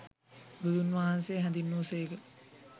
බුදුන්වහන්සේ හැඳින්වූ සේක.